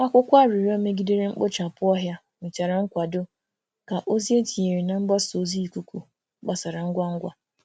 Akwụkwọ arịrịọ megidere mkpochapụ ọhịa nwetara nkwado ka ozi e tinyere na mgbasa ozi ikuku gbasara ngwa ngwa.